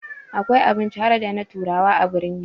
Akwai abinci harda na turawa a birni